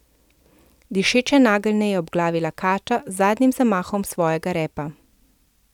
Dišeče nageljne je obglavila kača z zadnjim zamahom svojega repa.